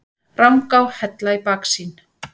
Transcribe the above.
Rangá, Hella í baksýn.